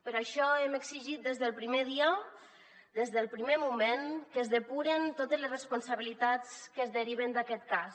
per això hem exigit des del primer dia des del primer moment que es depuren totes les responsabilitats que es deriven d’aquest cas